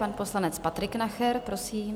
Pan poslanec Patrik Nacher, prosím.